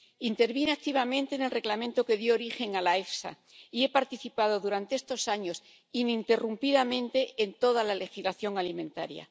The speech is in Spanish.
Intervine activamente en el Reglamento que dio origen a la EFSA y he participado durante estos años ininterrumpidamente en toda la legislación alimentaria.